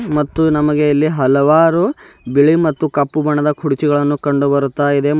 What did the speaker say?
ಮತ್ತು ನಮಗೆ ಇಲ್ಲಿ ಹಲವಾರು ಬಿಳಿ ಮತ್ತು ಕಪ್ಪು ಬಣ್ಣದ ಕುರ್ಚಿಗಳನ್ನು ಕಂಡು ಬರುತ್ತ ಇದೆ.